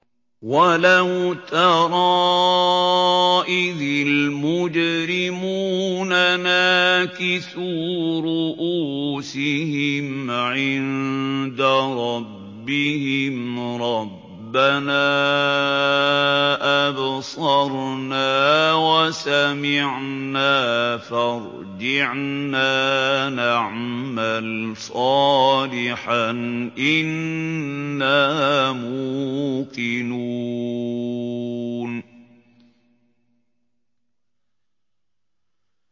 وَلَوْ تَرَىٰ إِذِ الْمُجْرِمُونَ نَاكِسُو رُءُوسِهِمْ عِندَ رَبِّهِمْ رَبَّنَا أَبْصَرْنَا وَسَمِعْنَا فَارْجِعْنَا نَعْمَلْ صَالِحًا إِنَّا مُوقِنُونَ